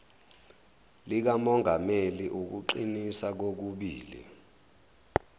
likamongameli ukuqinisa kokubili